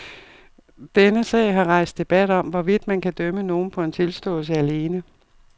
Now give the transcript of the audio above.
Denne sag har rejst debat om, hvorvidt man kan dømme nogen på en tilståelse alene.